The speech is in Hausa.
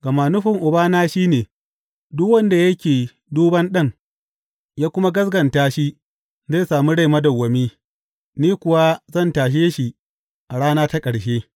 Gama nufin Ubana shi ne, duk wanda yake duban Ɗan, ya kuma gaskata shi zai sami rai madawwami, ni kuwa zan tashe shi a rana ta ƙarshe.